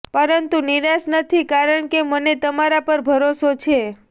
પરંતુ નિરાશ નથી કારણ કે મને તમારા પર ભરોસો છે